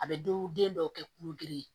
A bɛ do den dɔw kɛ kulo girin